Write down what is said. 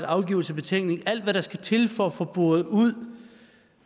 afgivelse af betænkning alt hvad der skal til for at få boret ud